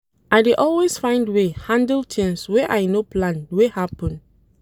I dey always find way handle tins wey I no plan wey happen.